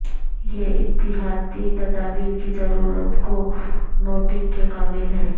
یہ احتیاطی تدابیر کی ضرورت کو نوٹنگ کے قابل ہے